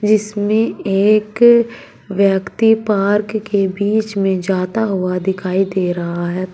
इसमें एक व्यक्ति पार्क के बीच में जाता हुआ दिखाई दे रहा है।